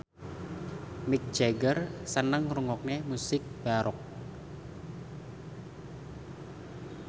Mick Jagger seneng ngrungokne musik baroque